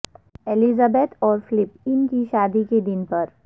Elizabeth اور Philip ان کی شادی کے دن پر